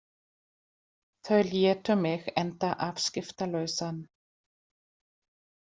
Þau létu mig enda afskiptalausan.